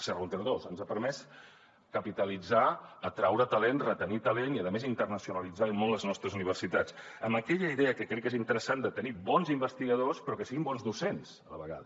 serra húnter dos ens ha permès capitalitzar atraure talent retenir talent i a més internacionalitzar i molt les nostres universitats amb aquella idea que crec que és interessant de tenir bons investigadors però que siguin bons docents a la vegada